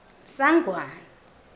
sangwane